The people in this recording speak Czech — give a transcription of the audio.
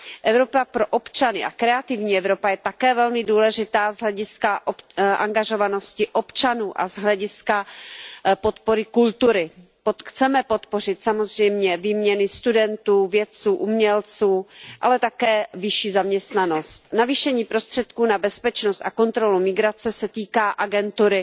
Evropa pro občany a Kreativní Evropa je také velmi důležitá z hlediska angažovanosti občanů a z hlediska podpory kultury. Chceme podpořit samozřejmě výměny studentů, vědců, umělců, ale také vyšší zaměstnanost. Navýšení prostředků na bezpečnost a kontrolu migrace se týká agentur